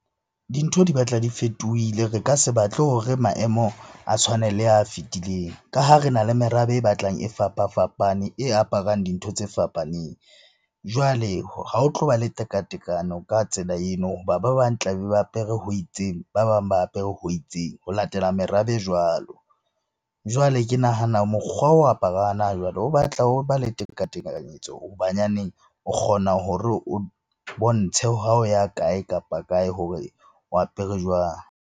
Dintho di batla di fetohile. Re ka se batle hore maemo a tshwane le a fetileng ka ha re na le merabe e batlang e fapa-fapane, e aparang dintho tse fapaneng. Jwale ha ho tlo ba le teka-tekano ka tsela eno hoba ba bang tla be ba apere ho itseng, ba bang ba apere ho itseng ho latela merabe jwalo. Jwale ke nahana mokgwa wa o apara hana jwale o batla ho ba le teka-tekanyetso ho banyaneng o kgona hore o bontshe ha o ya kae kapa kae hore o apere jwang?